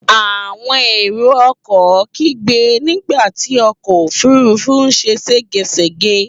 Àwọn èrò-ọkọ̀ kígbe nígbà tí ọkọ̀-òfurufú ṣe ṣégeṣège.